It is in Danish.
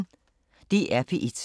DR P1